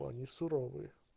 да они не суровые